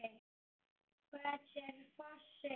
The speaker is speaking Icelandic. Hver er fossinn?